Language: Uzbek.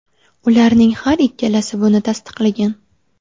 Ularning har ikkalasi buni tasdiqlagan.